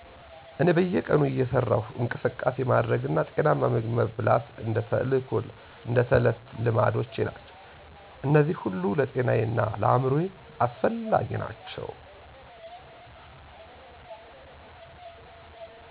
እኔ በየቀኑ እየሠራሁ እንቅስቃሴ ማድረግና ጤናማ ምግብ መበላት እንደ ተዕለት ልማዶቼ ናቸው። እነዚህ ሁሉ ለጤናዬ እና ለአእምሮዬ አስፈላጊ ናቸው።